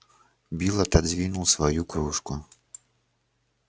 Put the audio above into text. билл отодвинул свою кружку